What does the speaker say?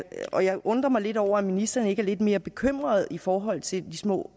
og jeg undrer mig lidt over at ministeren ikke er lidt mere bekymret i forhold til de små